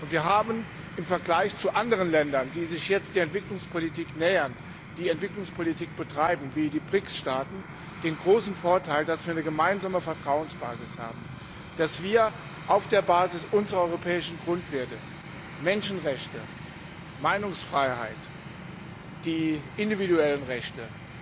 Wir haben im Vergleich zu anderen Ländern, die sich jetzt der Entwicklungspolitik nähern, die Entwicklungspolitik betreiben, wie die BRICS Staaten, den großen Vorteil, dass wir eine gemeinsame Vertrauensbasis haben, dass wir unseren Partnern aus den AKP auf der Basis unserer europäischen Grundwerte Menschenrechte, Meinungsfreiheit, die individuellen Rechte,